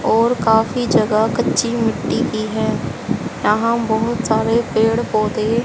और काफी जगह कच्ची मिट्टी की है यहां बहुत सारे पेड़ पौधे--